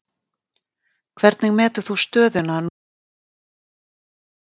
Hvernig metur þú stöðuna núna nokkrum mínútum fyrir leik?